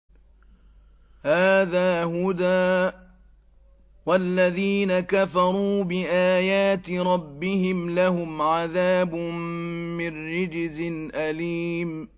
هَٰذَا هُدًى ۖ وَالَّذِينَ كَفَرُوا بِآيَاتِ رَبِّهِمْ لَهُمْ عَذَابٌ مِّن رِّجْزٍ أَلِيمٌ